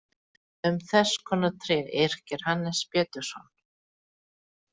Um þess konar tré yrkir Hannes Pétursson